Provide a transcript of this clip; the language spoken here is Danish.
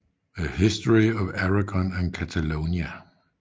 A History of Aragon and Catalonia